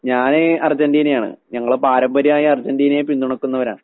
ഞാന് അർജന്റീനയാണ്. ഞങ്ങള് പാരമ്പര്യായി അർജന്റീനയെ പിന്തുണയ്ക്കുന്നവരാ.